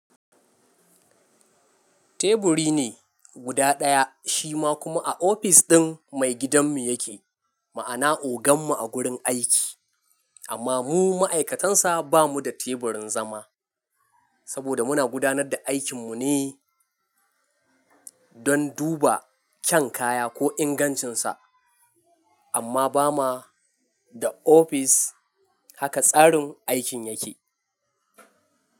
Teburi ne guda ɗaya shima kuma a ofis ɗin mai gidanmu yake, ma'ana ogan mu a gurin aiki, amma mu ma'aikatansa bamu da teburin zama. Saboda muna gudanar da aikin mu ne don duba kyan kaya ko ingancinsa amma ba ma da ofis haka tsarin aikin yake.